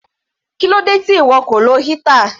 Kílódé tí ìwọ kò lo heater?